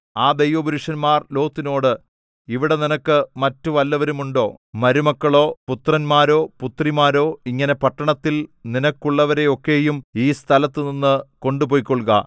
ആ ദൈവ പുരുഷന്മാർ ലോത്തിനോട് ഇവിടെ നിനക്ക് മറ്റു വല്ലവരുമുണ്ടോ മരുമക്കളോ പുത്രന്മാരോ പുത്രിമാരോ ഇങ്ങനെ പട്ടണത്തിൽ നിനക്കുള്ളവരെയൊക്കെയും ഈ സ്ഥലത്തുനിന്ന് കൊണ്ടുപൊയ്ക്കൊള്ളുക